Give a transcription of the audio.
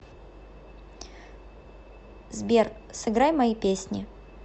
сбер сыграй мои песни